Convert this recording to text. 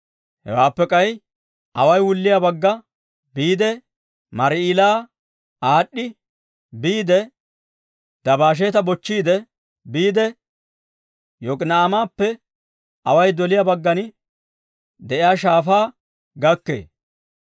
Hewaappe k'ay away wulliyaa bagga biide Mar"ila aad'd'i, biide Dabasheeta bochchiide biide, Yok'ina'aamappe away doliyaa baggan de'iyaa shaafaa gakkee.